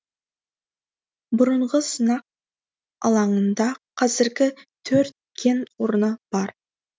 бұрынғы сынақ алаңында қазір төрт кен орны бар